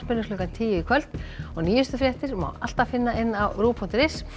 klukkan tíu í kvöld og nýjustu fréttir má alltaf finna á rúv punktur is